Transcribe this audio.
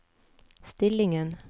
stillingen